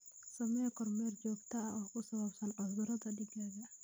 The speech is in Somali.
Samee kormeer joogto ah oo ku saabsan cudurrada digaagga.